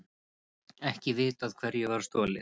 Ekki vitað hverju var stolið